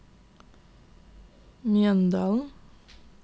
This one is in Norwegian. Mjøndalen